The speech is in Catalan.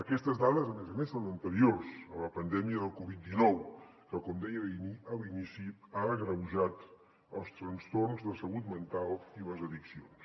aquestes dades a més a més són anteriors a la pandèmia de la covid dinou que com deia a l’inici ha agreujat els trastorns de salut mental i les addiccions